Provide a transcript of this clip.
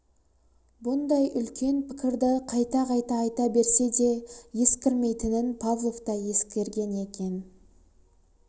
бұндай үлкен пікірді кайта-қайта айта берсе де ескірмейтінін павлов та ескерген екен